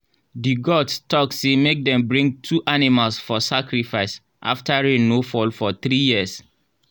the gods talk say make dem bring two animals for sacrifice after rain no fall for three years.